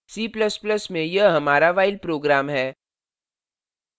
c ++ में यह हमारा while program है